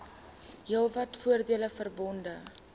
heelwat voordele verbonde